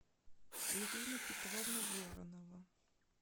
ирина петровна воронова